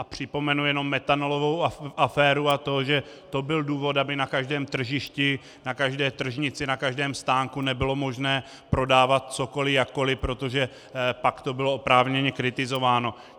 A připomenu jenom metanolovou aféru a to, že to byl důvod, aby na každém tržišti, na každé tržnici, na každém stánku nebylo možné prodávat cokoli jakkoli, protože pak to bylo oprávněně kritizováno.